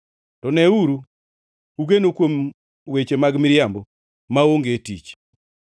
To neuru, ugeno kuom weche mag miriambo maonge tich.